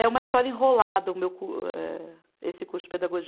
É uma história enrolada o meu cu, eh, esse curso de pedagogia.